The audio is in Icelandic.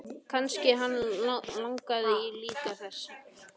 Kannski hann langi líka til þess!